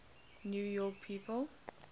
new york people